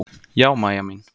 Já, Mæja mín.